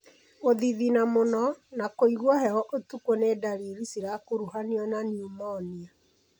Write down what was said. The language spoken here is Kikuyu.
Gũthithina mũno na kũigua heho ũtukũ nĩ ndariri cirakuruhanio na pneumonia.